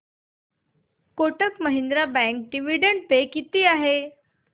Kotak Mahindra bank dividend पे किती आहे